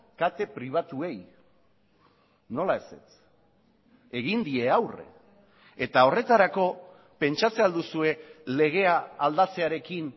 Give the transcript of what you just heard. kate pribatuei nola ezetz egin die aurre eta horretarako pentsatzen ahal duzue legea aldatzearekin